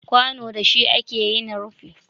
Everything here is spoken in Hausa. Kwano da shi ake yin rufi